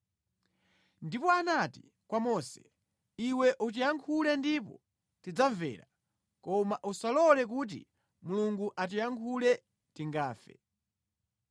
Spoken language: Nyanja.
Ndipo anati kwa Mose, “Iwe utiyankhule ndipo tidzamvera. Koma usalole kuti Mulungu atiyankhule, tingafe.”